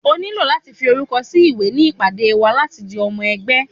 o niló latí fí orúkọ sí ìwé ní ìpàdé wa láti di omo ẹgbẹ́